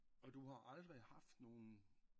Og du har aldrig haft nogen